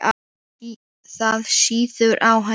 Það sýður á henni.